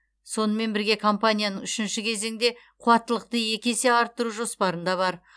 сонымен бірге компанияның үшінші кезеңде қуаттылықты екі есеге арттыру жоспарында бар